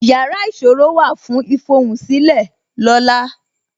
Yàrá ìṣòro wà fún ifohunsile lola